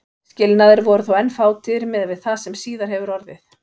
Skilnaðir voru þó enn fátíðir miðað við það sem síðar hefur orðið.